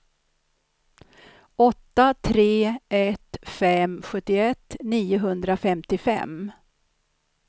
åtta tre ett fem sjuttioett niohundrafemtiofem